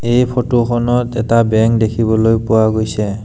এই ফটো খনত এটা বেংক দেখিবলৈ পোৱা গৈছে।